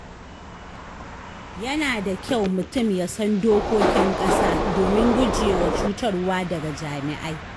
Yana da kyau mutum ya san dokokin ƙasa domin gujewa cutarwa daga jami’ai.